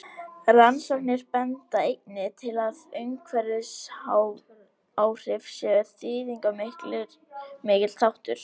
Rannsóknir benda einnig til að umhverfisáhrif séu þýðingarmikill þáttur.